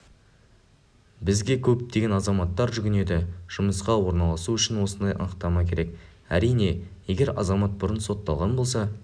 бізге көптеген азаматтар жүгінеді жұмысқа орналасуы үшін осындай анықтама керек әрине егер азамат бұрын сотталған болса